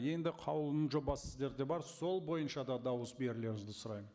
енді қаулының жобасы сіздерде бар сол бойынша да дауыс берулеріңізді сұраймын